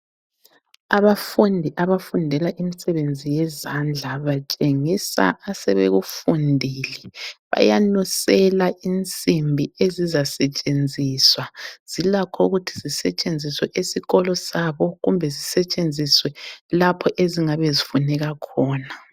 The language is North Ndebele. Abafundi abafundela imisebenzi yezandla batshengisa asebekufundile, bayanusela insimbi ezizasetshenziswa. Zilakho ukuthi zisetshenziswe esikolo sabo kumbe zisetshenziswe lapho ezizabezifuneka khona.